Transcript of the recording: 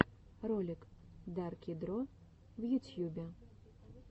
ролик дарки дро в ютьюбе